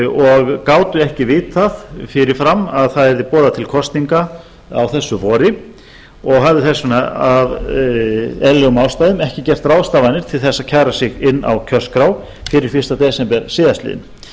og gátu ekki vitað fyrir fram að það yrði boðað til kosninga á þessu vori og höfðu þess vegna af eðlilegum ástæðum ekki gert ráðstafanir til þess að kæra sig inn á kjörskrá fyrir fyrsta desember síðastliðnum